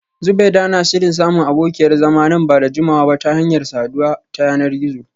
Zubeida na shirin samun abokiyar zama nan ba da jimawa ba ta hanyar saduwa ta yanar gizo